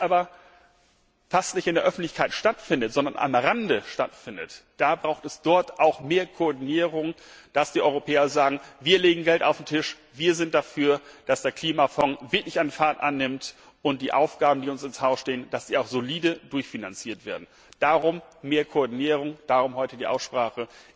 Wenn es aber fast nicht in der Öffentlichkeit stattfindet, sondern am Rande stattfindet, dann braucht es dort auch mehr Koordinierung, dass die Europäer sagen Wir legen Geld auf den Tisch, wir sind dafür, dass der Klimafonds wirklich an Fahrt aufnimmt und dass die Aufgaben, die uns ins Haus stehen, auch solide durchfinanziert werden. Darum mehr Koordinierung, darum heute die Aussprache.